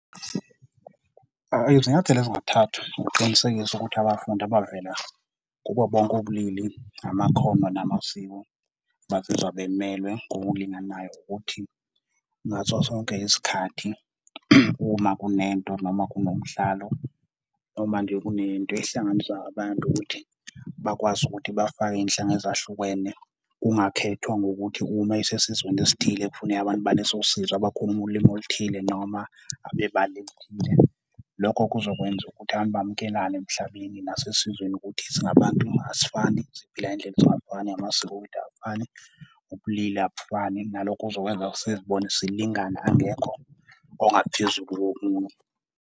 Izinyathelo ezingathathwa ukuqinisekisa ukuthi abafundi abavela kubo bonke ubulili, amakhono namasiko bazizwa bemelwe ngokulinganayo ukuthi ngaso sonke isikhathi uma kunento noma kunomdlalo, uma nje kunento ehlanganisa abantu ukuthi bakwazi ukuthi bafake izinhlanga ezahlukene kungakhethwa ngokuthi uma esesizweni esithile kufuneka abantu baleso sizwe abakhuluma ulimi oluthile, noma abebala elithile. Lokho kuzokwenza ukuthi abantu bamukelane emhlabeni nasesizweni ukuthi singabantu asifani, siphila ngendlela ezingafani, namasiko wethu awafani, ubulili abufani nalokhu kuzokwenza sizibone silingana. Angekho ongaphezulu komunye.